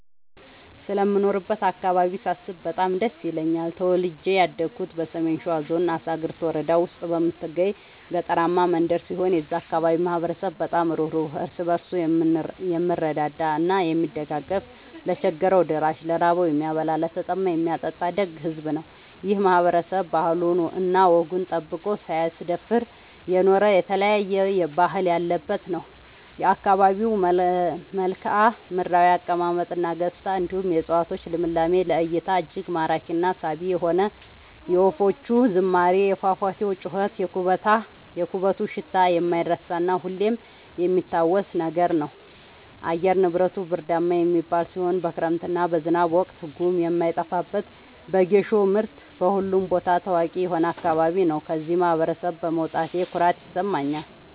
ስለምኖርበት አካባቢ ሳስብ በጣም ደስ ይለኛል። ተወልጄ ያደኩት በሰሜን ሸዋ ዞን አሳግርት ወረዳ ውስጥ በምትገኝ ገጠራማ መንደር ሲሆን የዛ አካባቢ ማህበረሰብ በጣም ሩህሩህ ÷ እርስ በርሱ የምረዳዳ እና የሚደጋገፍ ለቸገረው ደራሽ ÷ ለራበው የሚያበላ ÷ለተጠማ የሚያጠጣ ደግ ሕዝብ ነው። ይህ ማህበረሰብ ባህሉን እና ወጉን ጠብቆ ሳያስደፍር የኖረ የተለያየ ባህል ያለበት ነው። የአካባቢው መልከዓምድራው አቀማመጥ እና ገጽታ እንዲሁም የ እፀዋቶቹ ልምላሜ ለ እይታ እጅግ ማራኪ እና ሳቢ የሆነ የወፎቹ ዝማሬ የፏፏቴው ጩኸት የኩበቱ ሽታ የማይረሳ እና ሁሌም የሚታወስ ነገር ነው። አየር ንብረቱ ብርዳማ የሚባል ሲሆን በክረምት እና በዝናብ ወቅት ጉም የማይጠፋበት በጌሾ ምርት በሁሉም ቦታ ታዋቂ የሆነ አካባቢ ነው። ከዚህ ማህበረሰብ በመውጣቴ ኩራት ይሰማኛል።